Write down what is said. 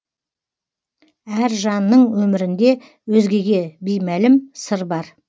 әр жанның өмірінде өзгеге беймәлім сыр бар